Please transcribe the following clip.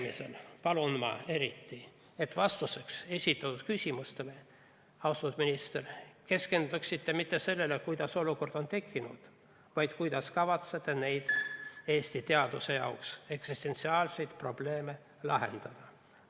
Ma palun eriti, et vastates esitatud küsimustele, austatud minister, te ei keskenduks mitte sellele, kuidas olukord on tekkinud, vaid sellele, kuidas kavatsete neid Eesti teaduse jaoks eksistentsiaalseid probleeme lahendada.